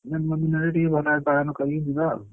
ଭଲ ଭାବରେ ପାଳନ କରିକି ଯିବ ଆଉ।